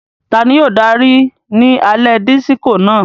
Tani yóò daari ni alẹ Disiko náà?